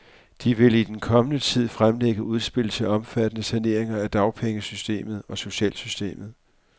De vil i den kommende tid fremlægge udspil til omfattende saneringer af dagpengesystemet og socialsystemet.